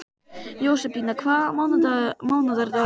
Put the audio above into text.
Jósebína, hvaða mánaðardagur er í dag?